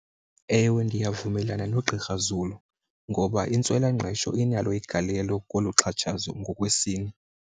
Ewe, ndiyavumelana noGqr Zulu ngoba intswelangqesho inalo igalelo kolu xhatshatshazo ngokwesini.